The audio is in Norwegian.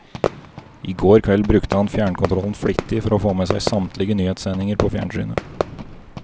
I går kveld brukte han fjernkontrollen flittig for å få med seg samtlige nyhetssendinger på fjernsynet.